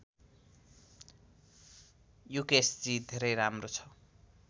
युकेशजी धेरै राम्रो छ